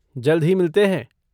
जल्द ही मिलते हैं।